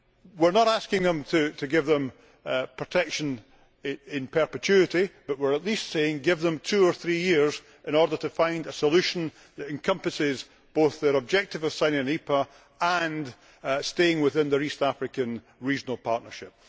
We are not asking them to give them protection in perpetuity but we are at least saying give them two or three years in order to find a solution that encompasses both their objective of signing an EPA and staying within their East African regional partnership.